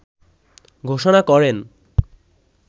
ঘোষণা করেন